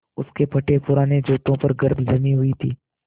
उसके फटेपुराने जूतों पर गर्द जमी हुई थी